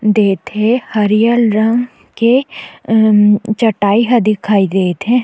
देत हे हरियर रंग के अ अम चटाई हा दिखाई देत हे।